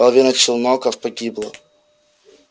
половина челноков погибла